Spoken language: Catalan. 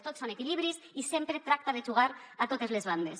tot són equilibris i sempre tracta de jugar a totes les bandes